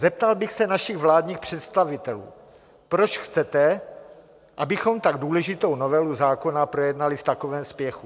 Zeptal bych se našich vládních představitelů: Proč chcete, abychom tak důležitou novelu zákona projednali v takovém spěchu?